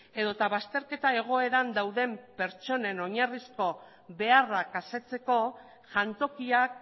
edota bazterketa egoeran dauden pertsonen oinarrizko beharrak asetzeko jantokiak